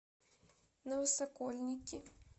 новосокольники